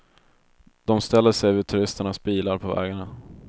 De ställer sig vid turisternas bilar på vägarna.